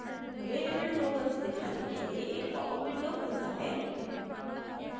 available tokens दिखाने के लिए एक popup window खुलता है